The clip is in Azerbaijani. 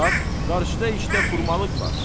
Bax, qarşıda işdə xurmalıq var.